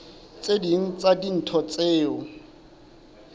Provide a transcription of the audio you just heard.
tse ding tsa dintho tseo